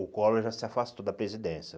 O Collor já se afastou da presidência.